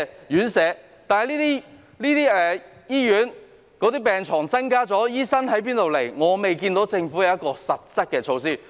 可是，對於醫院增加病床後，醫生究竟從何來的問題，我未見政府有任何實質措施。